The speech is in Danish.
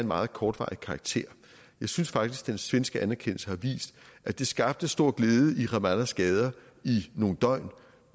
meget kortvarig karakter jeg synes faktisk den svenske anerkendelse har vist at det skabte stor glæde i ramallahs gader i nogle døgn